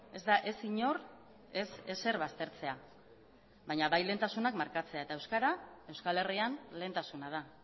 ez da ez inor ez ezer baztertzea baina bai lehentasunak markatzea eta euskara euskal herrian lehentasuna da